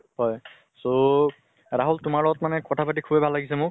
হয়, so ৰাহুল তোমাৰ লগত কথা পাতি সুবেই ভাল লাগিছে মোৰ